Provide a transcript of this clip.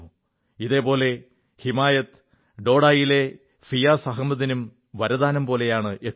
ഇതേപോലെ ഹിമായത് ഡോഡയിലെ ഫിയാസ് അഹമ്മദിനും വരദാനംപോലെയാണ് എത്തിയത്